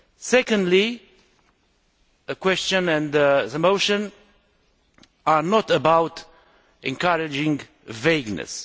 Secondly, the question and the motion are not about encouraging vagueness.